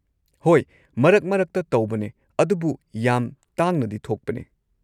ꯍꯣꯏ, ꯃꯔꯛ ꯃꯔꯛꯇ ꯇꯧꯕꯅꯦ, ꯑꯗꯨꯕꯨ ꯌꯥꯝ ꯇꯥꯡꯅꯗꯤ ꯊꯣꯛꯄꯅꯦ